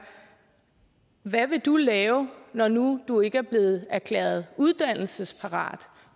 hvad vil du lave når nu du ikke er blevet erklæret uddannelsesparat